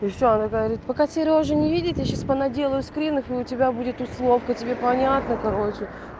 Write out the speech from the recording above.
и ещё она говорит пока серёжа не видит я сейчас понаделаю скринов и у тебя будет условка тебе понятно короче